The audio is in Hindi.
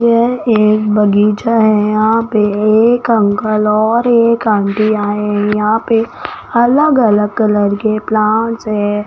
यह एक बगीचा है यहां पे एक अंकल और एक आंटी आए हैं यहां पे अलग अलग कलर के प्लांट्स है।